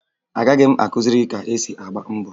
Agaghị m akụziri gị ka esi agba mbọ